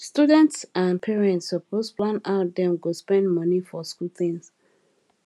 students and parents suppose plan how dem go spend money for school things